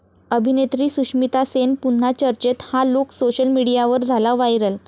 अभिनेत्री सुष्मिता सेन पुन्हा चर्चेत, 'हा' लुक सोशल मीडियावर झाला व्हायरल